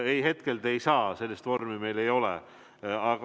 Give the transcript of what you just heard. Ei, seda ei saa, sellist vormi meil ei ole.